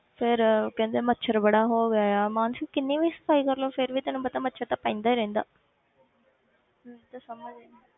ਫਿਰ ਕਹਿੰਦੇ ਮੱਛਰ ਬੜਾ ਹੋ ਗਿਆ ਆ ਮਾਨਸੀ ਕਿੰਨੀ ਵੀ ਸਫ਼ਾਈ ਕਰ ਲਓ ਫਿਰ ਵੀ ਤੈਨੂੰ ਪਤਾ ਮੱਛਰ ਤਾਂ ਪੈਂਦਾ ਹੀ ਰਹਿੰਦਾ ਮੈਨੂੰ ਤਾਂ ਸਮਝ ਨੀ